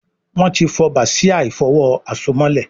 Wón tí fó Bàsíà ìfọ̀wo àsomọ́lẹ̀